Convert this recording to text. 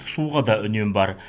суға да үнем бар